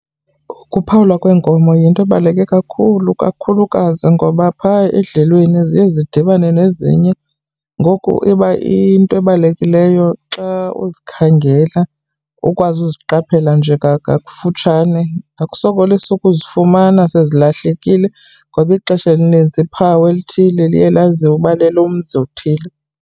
Ukuphawulwa kweenkomo yinto ebaluleke kakhulu, kakhulukazi ngoba phaa edlelweni ziye zidibene nezinye ngoku iba into ebalulekileyo xa uzikhangela ukwazi uziqaphela nje futshane, akusokolisi ukuzifumana sezilahlekile ngoba ixesha elinintsi iphawu elithile liye laziwe uba lelomzi othile.